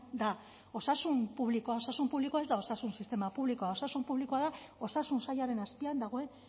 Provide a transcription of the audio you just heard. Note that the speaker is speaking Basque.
da osasun publikoa osasun publikoa ez da osasun sistema publikoa osasun publikoa da osasun sailaren azpian dagoen